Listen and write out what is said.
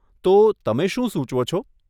તો, તમે શું સુચવો છો?